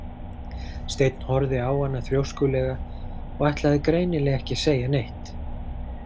Steinn horfði á hana þrjóskulega og ætlaði greinilega ekki að segja neitt.